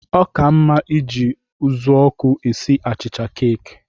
Ọ ka mma iji ụzụọkụ esi achịcha keeki.